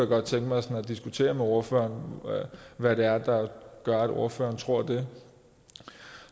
godt tænke mig at diskutere med ordføreren hvad det er der gør at ordføreren tror det